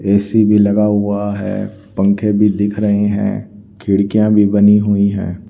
AC भी लगा हुआ है पंखे भी दिख रहे हैं खिड़कियां भी बनी हुई हैं।